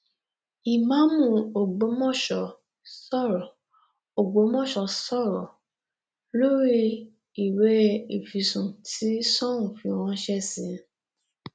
ìmáàmù ọgbọmọso sọrọ ọgbọmọso sọrọ lórí ìwé ìfisùn tí soun fi ránṣẹ sí i